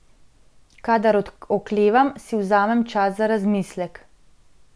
Kadar oklevam, si vzamem čas za razmislek.